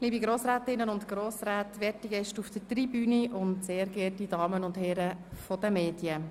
Liebe Grossrätinnen und Grossräte, werte Gäste auf der Tribüne, sehr geehrte Damen und Herren der Medien.